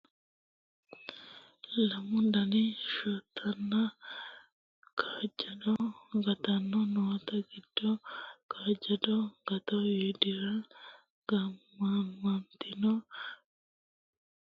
lamu daniti shotanna kaajjado agatto noote giddo kaajjado agatto widira gaamantannoti xarmusete worreenna ashshagante nootinna badheseenni duumu kuuli isehu no yaate